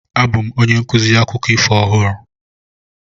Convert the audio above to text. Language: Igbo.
Abụ m onye nkuzi akụkọ ifo ọhụrụ.